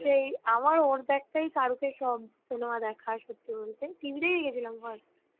সেই আমার ওর দেখায় শারুখের সব cinema দেখার first